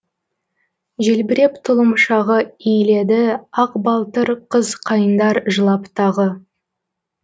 желбіреп тұлымшағы иіледі ақ балтыр қыз қайыңдар жылап тағы